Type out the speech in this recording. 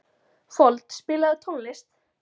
Fold, spilaðu tónlist.